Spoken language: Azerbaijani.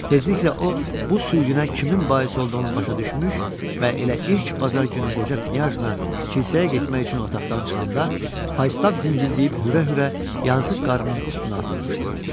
Tezliklə o, bu sürgünə kimin bais olduğunu başa düşmüş və elə ilk bazar günü qoca Knyajna kilsəyə getmək üçün otaqdan çıxanda, Faystaff zingildəyib hürə-hürə yazıq qarının üstünə atılmışdı.